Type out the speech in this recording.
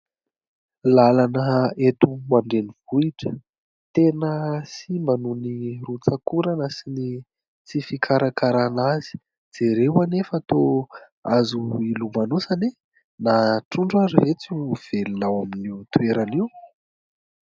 Làlana eto an-drenivohotra, tena simba noho ny rotsak'orana sy ny tsy fikarakarana azy. Jereo anie fa toa azo ilomanosana e! na trondro ary ve tsy ho velona ao amin'io toerana io?